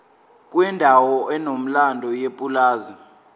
kwendawo enomlando yepulazi